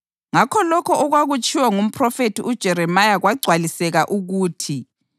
Ngakho lokho okwakutshiwo ngumphrofethi uJeremiya kwagcwaliseka ukuthi: